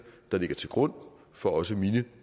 der ligger til grund for også mine